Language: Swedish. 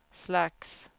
slags